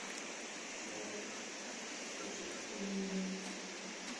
салют включить инди